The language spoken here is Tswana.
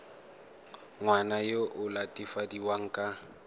ngwana yo o latofadiwang ka